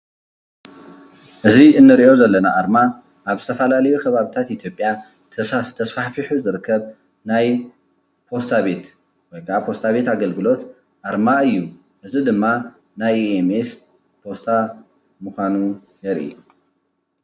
እዚ እንሪኦ ዘለና ኣርማ ኣብ ዝተፈላለዩ ከባብታት ኢትዮጵያ ተስፋሕፊሑ ዝርከብ ናይ ፖስታ ቤት ወይ ከዓ ፖስታ ቤት ኣገልግሎት ኣርማ እዩ፡፡ እዚ ድማ ናይ ሜስ ፖስታ ምዃኑ የርኢ፡፡